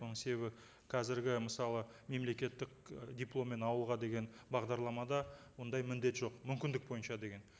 оның себебі қазіргі мысалы мемлекеттік і дипломмен ауылға деген бағдарламада ондай міндет жоқ мүмкіндік бойынша деген